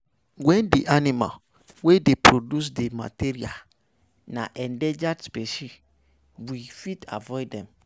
When di animals wey dey produce di material na endangered specie, we fit avoid them